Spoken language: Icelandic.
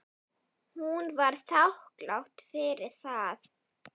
Hún var þakklát fyrir það.